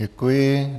Děkuji.